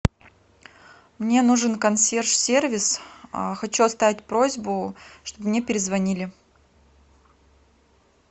мне нужен консьерж сервис хочу оставить просьбу чтобы мне перезвонили